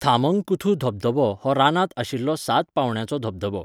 थामंगकुथु धबधबो हो रानांत आशिल्लो सात पांवड्याचो धबधबो.